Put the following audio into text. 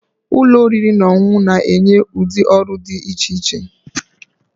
Ụlọ oriri na ọṅụṅụ na-enye ụdị ọrụ dị iche iche